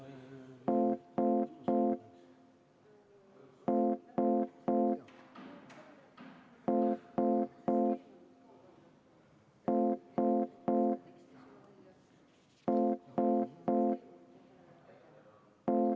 Me oleme läbi vaadanud kõik muudatusettepanekud.